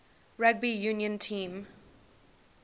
rugby union team